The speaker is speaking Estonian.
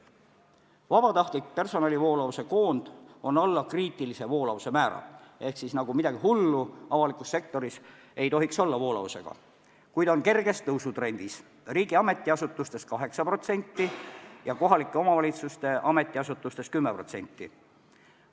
Personali vabatahtliku voolavuse näitaja on alla kriitilise voolavuse määra – seega midagi hullu voolavusega ei tohiks olla –, kuid on kerges tõusutrendis: riigi ametiasutustes 8% ja kohalike omavalitsuste ametiasutustes 10%.